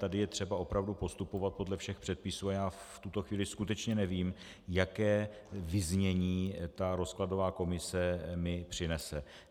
Tady je třeba opravdu postupovat podle všech předpisů a já v tuto chvíli skutečně nevím, jaké vyznění ta rozkladová komise mi přinese.